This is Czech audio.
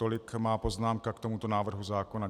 Tolik moje poznámka k tomuto návrhu zákona.